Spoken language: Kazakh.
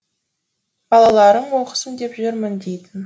балаларым оқысын деп жүрмін дейтін